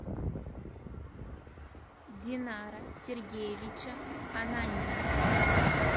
динара сергеевича ананьина